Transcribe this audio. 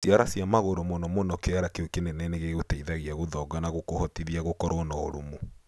Ciara cia magũrũ, mũno mũno kĩara kĩu kĩnene nĩ gĩgũteithagia gũthonga na gũkũhotithia gũkoro na ũrũmu.